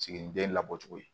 Siginiden labɔ cogo ye